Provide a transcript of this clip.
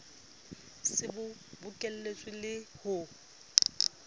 se bo bokeletswe le ho